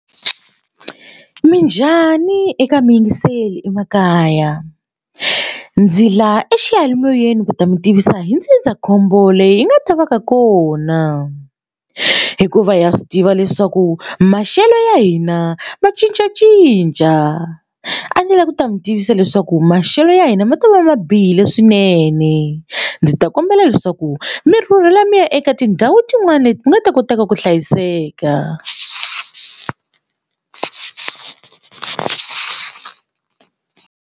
Minjhani eka mi yingiseli emakaya ndzi laha eximoyeni ku ta mi tivisa hi ndzindzakhombo leyi hi nga ta va ka kona hikuva ha swi tiva leswaku maxelo ya hina va cincacinca a ndzi lava ku ta mi tivisa leswaku maxelo ya hina ma ta va ma bihile swinene ndzi ta kombela leswaku mi rhurhela mi ya eka tindhawu tin'wani leti mi nga ta kotaka ku hlayiseka.